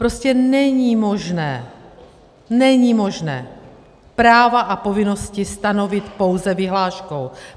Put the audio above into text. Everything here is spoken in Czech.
Prostě není možné, není možné práva a povinnosti stanovit pouze vyhláškou.